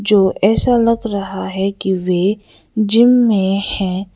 जो ऐसा लग रहा है कि वे जिम में है।